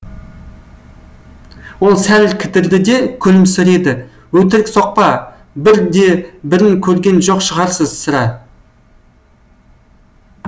ол сәл кідірді де күлімсіреді өтірік соқпа бір де бірін көрген жоқ шығарсың сірә